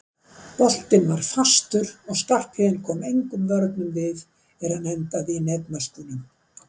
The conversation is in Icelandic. Boltinn var fastur og Skarphéðinn kom engum vörnum við er hann endaði í netmöskvunum.